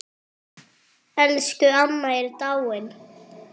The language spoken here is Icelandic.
Elsku amma er dáinn.